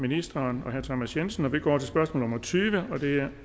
ministeren og herre thomas jensen vi går til spørgsmål nummer tyve og det er